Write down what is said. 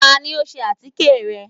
Tani o sè atike rẹ?